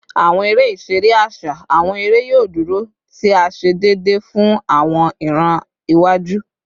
Awọn ere-iṣere aṣa / awọn ere yoo duro, ti a ṣe deede fun awọn iran iwaju